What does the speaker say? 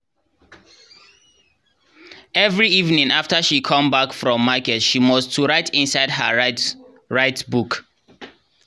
every evening after she come back from market she must to write inside her write write book.